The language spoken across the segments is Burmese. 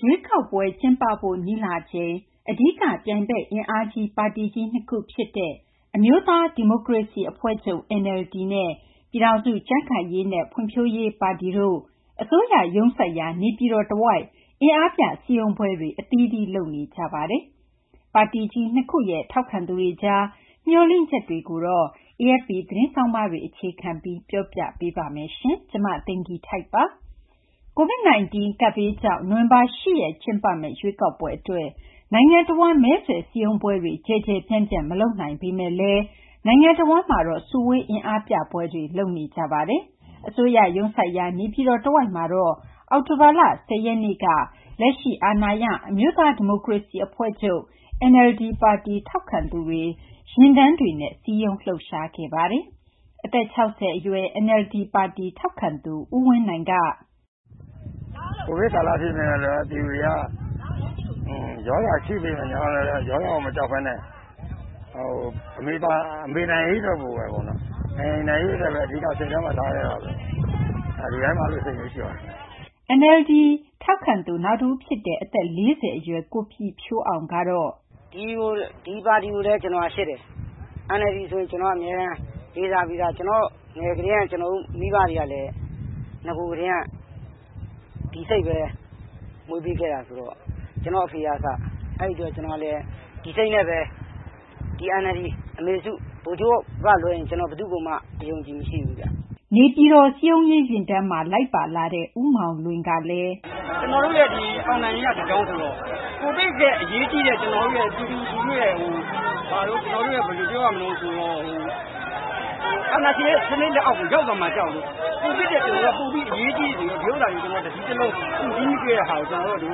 ရွေးကောက်ပွဲကျင်းပဖို့ နီးလာချိန် အဓိကပြိုင်ဘက် အင်အားကြီးပါတီကြီး ၂ ခုဖြစ်တဲ့ အမျိုးသားဒီမိုကရေစီအဖွဲ့ချုပ် နဲ့ ပြည်ထောင်စုကြံံ့ခိုင်ရေးနဲ့ ဖွံ့ဖြိုးရေးပါတီတို့ အစိုးရရုံးစိုက်ရာ နေပြည်တော်တဝိုက် အင်အားပြ စည်းရုံးပွဲတွေ အသီးသီး လုပ်နေကြပါတယ်။ ပါတီကြီး ၂ ခုရဲ့ ထောက်ခံသူတွေကြား မျှော်လင့်ချက်တွေကို AFP သတင်းဆောင်းပါးတွေ အခြေခံပြီး မသိင်္ဂီထိုက် တင်ပြပေးထားပါတယ်။ COVID-19 ကပ်ဘေးကြောင့် နိုဝင်ဘာလ ၈ ရက်နေ့ ကျင်းပမယ့် ရွေးကောက်ပွဲအတွက် နိုင်ငံတဝန်း မဲဆွယ်စည်းရုံးပွဲတွေ ကျယ်ကျယ်ပြန့်ပြန့် မလုပ်နိုင်ပေမယ့်လည်း နိုင်ငံတဝန်းမှာ စုဝေး အင်အားပြပွဲတွေတော့ လုပ်နေကြပါတယ်။ အစိုးရရုံးစိုက်ရာ နေပြည်တော်တဝိုက်မှာတော့ အောက်တိုဘာလ ၁၀ ရက်နေ့က လက်ရှိအာဏာရ အမျိုးသားဒီမိုကရေစီအဖွဲ့ချုပ် ပါတီ ထောက်ခံသူတွေ ကားတွေ၊ ဆိုင်ကယ်တွေနဲ့ စည်းရုံး လှုပ်ရှားခဲ့ပါတယ်။ အသက် ၆၀ အရွယ် NLD ထောက်ခံသူ ဦးဝင်းနိုင်ကတော့ “ကိုဗစ်ကာလ ဖြစ်ပေမယ့်လည်း ပြည်သူတွေက ရောဂါရှိပေမယ့်လည်း ရောဂါမကြောက်ဘဲနဲ့ အမေနိုင်ရေးအတွက်ပဲ အဓိက စိတ်ထဲမှာ ထားခဲ့တာပေါ့။ လူတိုင်းမှာ အဲလိုစိတ်မျိုး ရှိပါတယ်ခင်ဗျ။” လို့ ပြောပါတယ်။ NLD ထောက်ခံသူ နောက်တဦးဖြစ်တဲ့ အသက် ၄၀ အရွယ် ကိုပြည့်ဖြိုးအောင်ကတော့... “ဒီပါတီကိုပဲ ကျနော်က ချစ်တယ်။ NLD ဆိုရင် ကျနော်က အမြဲတမ်း လေးစားပြီးသား။ ငယ်ငယ်ကတည်းက ကျနော်တို့ မိဘတွေကလည်း နဂိုကတည်းက ဒီစိတ်ပဲ မွေးပေးခဲ့တာ ဆိုတော့။ ကျနော့်အဖေကအစ။ အဲဒီအတွက် ကျနော်ကလည်း ဒီစိတ်နဲ့ပဲ။ ဒီ NLD ဒီ အမေစု ဗိုလ်ချုပ်ကလွဲရင် ကျနော် ဘယ်သူ့ကိုမှ အယုံအကြည်မရှိဘူး။” လို့ ဆိုပါတယ်။ နေပြည်တော် စည်းရုံးရေးယာဉ်တန်းမှာ လိုက်ပါလာသူ ဦးမောင်လွင်ကလည်း သူ့ရဲ့အမြင်ကို အခုလိုပြောပါတယ်။ “ကျနော်တို့ ဒီ NLD အောင်နိုင်ရေးက တကြောင်းဆိုတော့ ကိုဗစ်ထက် အရေးကြီးတဲ့ ကျနော်တို့ရဲ့ ပြည်သူလူထုရဲ့ ဘယ်လိုပြောရမလဲဆိုတော့ အာဏာရှင်ရဲ့ စနစ် လက်အောက်ကို ရောက်သွားမှာ ကြောက်လို့ ကိုဗစ်ထက်ပိုပြီး အရေးကြီးလို့ ဒီဥစ္စာကို ကျနော်တို့ တစည်းတလုံး စုစည်းပေးတာ။ ကျနော်တို့က ဒီ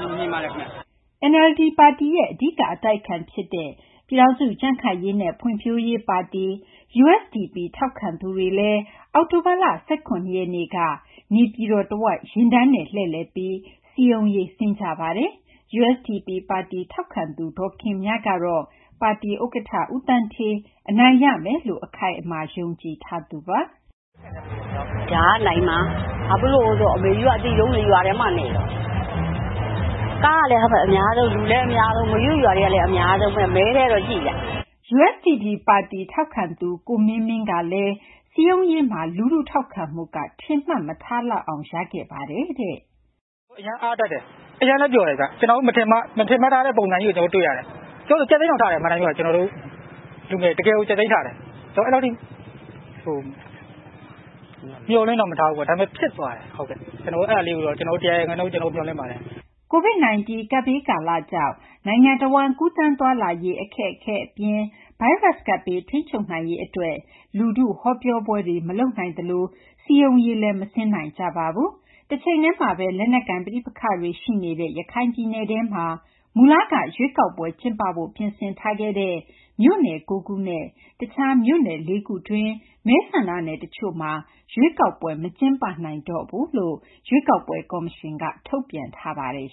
လိုမြင်ပါတယ်။” NLD ပါတီရဲ့ အဓိက အတိုက်အခံဖြစ်တဲ့ ပြည်ထောင်စုကြံ့ခိုင်ရေးနဲ့ ဖွံ့ဖြိုးရေးပါတီ ထောက်ခံသူတွေကလည်း အောက်တိုဘာလ ၁၇ ရက်နေ့က နေပြည်တော်တဝိုက် ယာဉ်တန်းနဲ့ လှည့်လည်ပြီး စည်းရုံးရေး ဆင်းခဲ့ပါတယ်။ USDP ပါတီ ထောက်ခံသူ ဒေါ်ခင်မြကတော့ USDP ပါတီဥက္ကဋ္ဌ ဦးသန်းဌေး အနိုင်ရမယ်လို့ အခိုင်အမာ ယုံကြည်ထားသူပါ။ “ဒါက နိုင်မှာ။ ဘာဖြစ်လို့လဲဆိုတော့ အမေကြီးတို့က အသိဆုံးလေ၊ ရွာထဲမှာနေတော့။ ကားလည်း အများဆုံး၊ လူလည်း အများဆုံး၊ အမေကြီးတို့ ရွာထဲလည်း အများဆုံး။” USDP ပါတီ ထောက်ခံသူ ကိုမင်းမင်းကတော့ စည်းရုံးရေးမှာ လူထုထောက်ခံမှုက ထင်မှတ်မထားလောက်အောင် ရခဲ့ပါတယ်လို့ ဆိုပါတယ်။ “အရမ်းအားတက်တယ်၊ အရမ်းလည်း ပျော်တယ်ဗျ။ ကျနော်တို့ မထင်မှတ်ထားတဲ့ ပုံစံကြီးကို ကျနော်တို့ တွေ့ရတယ်။ တချို့ဆို ကြက်သီးတောင်ထတယ်။ အမှန်အတိုင်း ပြောရရင် ကျနော်တို့လူငယ်တွေ တကယ်ကို ကြက်သီးထတယ်။ ကျနော်တို့ အဲလောက်ထိ မျှော်လင့်တော့ မထားဘူးပေါ့။ ဒါပေမယ့် ဖြစ်သွားတယ်။ ကျနော်တို့ အဲဒါလေးကိုတော့ ကျနော်တို့ ၁၀၀ ရာခိုင်နှုန်း ကျနော်တို့ မျှော်လင့်ပါတယ်။” COVID-19 ကပ်ဘေးကာလကြောင့် နိုင်ငံတဝန်း ကူးသန်းသွားလာရေး အခက်အခဲအပြင် ဗိုင်းရပ်စ်ကပ်ဘေး ထိန်းချုပ်နိုင်ရေးအတွက် လူထု ဟောပြောပွဲတွေ မလုပ်နိုင်သလို စည်းရုံးရေးလည်း မဆင်းနိုင်ကြပါဘူး။ တချိန်တည်းမှာပဲ လက်နက်ကိုင် ပဋိပက္ခတွေ ရှိနေတဲ့ ရခိုင်ပြည်နယ်ထဲမှာ မူလက ရွေးကောက်ပွဲကျင်းပဖို့ ပြင်ဆင်ထားခဲ့တဲ့ မြို့နယ် ၉ ခုနဲ့ တခြားမြို့နယ် ၄ ခုတွင်းက မဲဆန္ဒနယ် တချို့မှာလည်း ရွေးကောက်ပွဲ မကျင်းပတော့ဘူးလို့ ရွေးကောက်ပွဲကော်မရှင်က ထုတ်ပြန်ထားပါတယ်